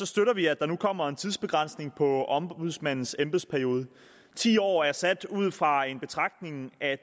støtter vi at der nu kommer en tidsbegrænsning på ombudsmandens embedsperiode ti år er sat ude fra den betragtning at